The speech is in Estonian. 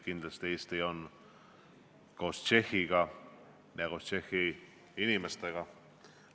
Kindlasti on Eesti koos Tšehhiga ja Tšehhi inimestega.